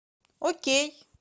окей